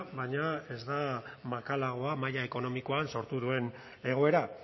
baina ez da makalagoa maila ekonomikoan sortu duen egoera